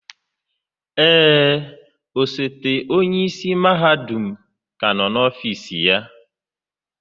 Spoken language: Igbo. Ee, osote onye isi mahadum ka nọ n'ọfịs ya.